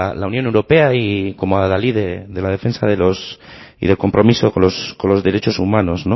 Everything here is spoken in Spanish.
la unión europea y como a la ley de la defensa y el compromiso con los derechos humanos